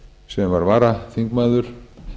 sem var varaþingmaður